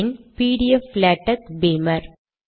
பின் PDF latex பீமர்